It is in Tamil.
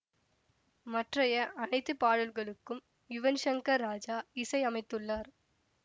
மற்றைய அனைத்து பாடல்களுக்கும் யுவன் ஷங்கர் ராஜா இசை அமைத்துள்ளார்